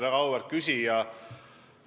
Väga auväärt küsija!